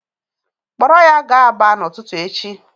Kpọrọ ya gaa Aba n'ụtụtụ echi.